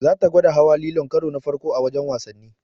Zata gwada hawa lilon karo na farko a wajen wasannin.